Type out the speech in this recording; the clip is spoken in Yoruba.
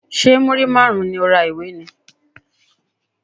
Ṣé múrí márùn-ún ni o ra ìwé ni?